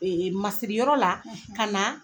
E e masiriyɔrɔ la ka naa